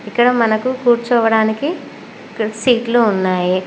ఇక్కడ మనకు కూర్చోవడానికి ఇక్కడ సీట్లు ఉన్నాయి.